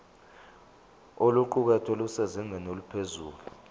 oluqukethwe lusezingeni eliphezulu